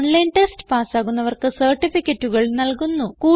online test പാസ്സാകുന്നവർക്ക് സർട്ടിഫികറ്റുകൾ നല്കുന്നു